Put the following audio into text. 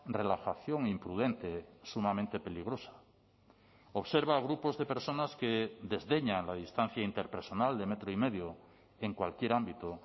relajación imprudente sumamente peligrosa observa a grupos de personas que desdeñan la distancia interpersonal de metro y medio en cualquier ámbito